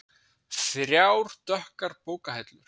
Þrjár dökkar bókahillur.